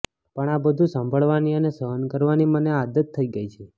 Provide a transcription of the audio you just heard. પણ આ બધું સાંભળવાની અને સહન કરવાની મને આદત થઈ ગઈ છે